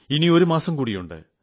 ഇനിയൊരു മാസം കൂടിയുണ്ട്